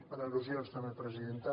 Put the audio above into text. per al·lusions també presidenta